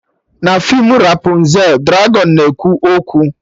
Na feem Rapụnzel, dragọn na-ekwu okwu